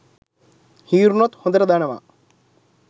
හීරුනොත් හොඳට දනවා